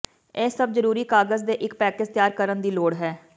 ਇਹ ਸਭ ਜ਼ਰੂਰੀ ਕਾਗਜ਼ ਦੇ ਇੱਕ ਪੈਕੇਜ ਤਿਆਰ ਕਰਨ ਦੀ ਲੋੜ ਹੈ